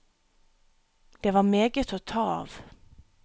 Det var meget å ta av.